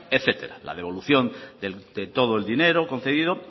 etcétera la devolución de todo el dinero concedido